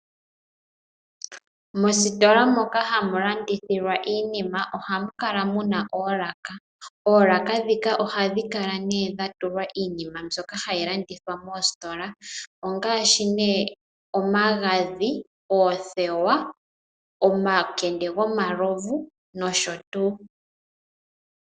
Mositola moka hamu landithilwa iinima ohamu kala muna oolaka. Oolaka ndhika ohadhi kala dha tulwa iinima mbyoka hayi landithwa moositola ngaashi omagadhi, oothewa, omakende gomalovu nosho tuu.